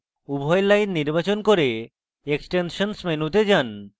উভয় lines নির্বাচন করুন extensions মেনুতে যান